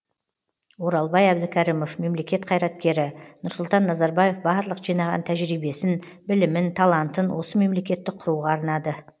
оралбай әбдікәрімов мемлекет қайраткері нұрсұлтан назарбаев барлық жинаған тәжірибесін білімін талантын осы мемлекетті құруға арнады